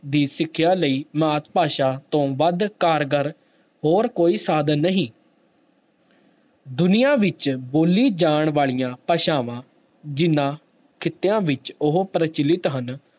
ਦੀ ਸਿੱਖਿਆ ਲਈ ਮਾਤ ਭਾਸ਼ਾ ਤੋਂ ਵੱਧ ਕਾਰਗਰ ਹੋਰ ਕੋਈ ਸਾਧਨ ਨਹੀਂ ਦੁਨੀਆਂ ਵਿੱਚ ਬੋਲੀ ਜਾਣ ਵਾਲੀਆਂ ਭਾਸ਼ਾਵਾਂ ਜਿਹਨਾਂ ਖਿੱਤਿਆਂ ਵਿੱਚ ਉਹ ਪ੍ਰਚਲਿਤ ਹਨ,